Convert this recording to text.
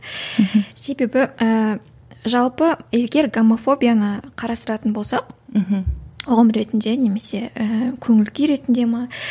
мхм себебі ііі жалпы егер гомофобияны қарастыратын болсақ мхм ұғым ретінде немесе ііі көңіл күй ретінде ме